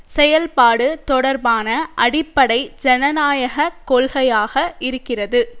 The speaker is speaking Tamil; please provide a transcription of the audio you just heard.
செயல்பாடு தொடர்பான அடிப்படை ஜனநாயக கொள்கையாக இருக்கிறது